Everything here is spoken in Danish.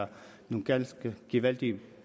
er en ganske gevaldig